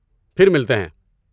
پھر ملتے ہیں۔